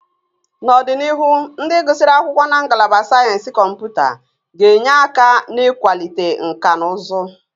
N'ọdịnihu, ndị gụsịrị akwụkwọ na Ngalaba Sayensị Kọmputa ga-enye aka n'ịkwalite nkà na ụzụ